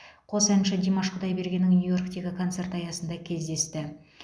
қос әнші димаш құдайбергеннің нью йорктегі концерті аясында кездесті